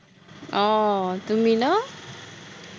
আহ তুমি ন,